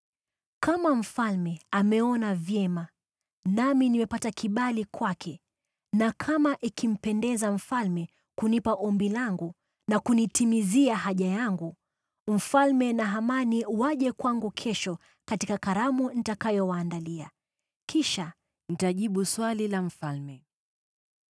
Kama mfalme ameona vyema, nami nimepata kibali kwake na kama ikimpendeza mfalme kunipa ombi langu na kunitimizia haja yangu, mfalme na Hamani waje kwangu kesho katika karamu nitakayowaandalia. Kisha nitajibu swali la mfalme.”